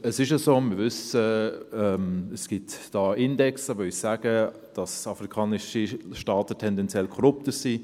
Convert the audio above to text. Es gibt, wie wir wissen, Indizes, die uns sagen, dass afrikanische Staaten tendenziell korrupter sind.